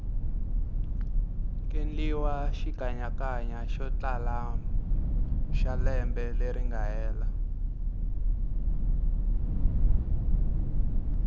kendliwa xikanyakanya yotlala xalembe leringa hela